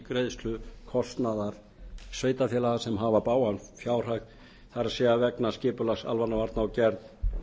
greiðslu kostnaðar sveitarfélaga sem hafa bágan fjárhag það er vegna skipulags almannavarna og gerð